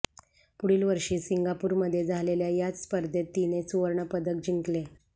पुढील वर्षी सिंगापूरमध्ये झालेल्या याच स्पर्धेत तिने सुवर्णपदक जिंकले